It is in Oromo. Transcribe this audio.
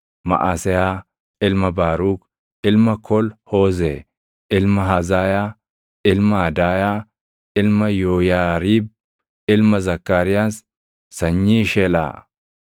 Maʼaseyaa ilma Baaruk, ilma Kol-Hoozee, ilma Hazaayaa, ilma Adaayaa, ilma Yooyaariib, ilma Zakkaariyaas, sanyii Shelaa.